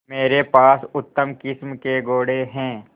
मेरे पास उत्तम किस्म के घोड़े हैं